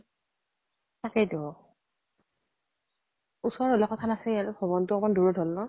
তাকেইতো ওচৰ হলে কথা নাছিল, ভাৱনতো অকমান দূৰত হল ন?